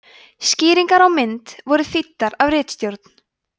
skýringar á mynd voru þýddar af ritstjórn